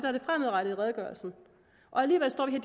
er det fremadrettede i redegørelsen alligevel står vi